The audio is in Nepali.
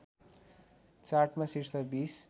चार्टमा शीर्ष २०